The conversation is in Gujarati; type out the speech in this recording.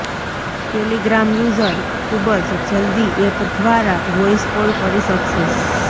ટેલિગ્રામ યુઝર ખુબ જ જલ્દી એપ ઘ્વારા વોઇસ કોલ કરી શકશે